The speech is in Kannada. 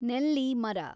ನೆಲ್ಲಿ ಮರ